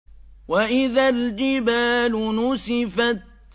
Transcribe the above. وَإِذَا الْجِبَالُ نُسِفَتْ